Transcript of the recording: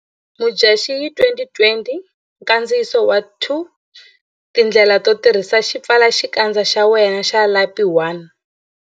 Mudyaxihi 2020 Nkandziyiso 2Tindlela to tirhisa xipfalaxikandza xa wena xa lapi 1.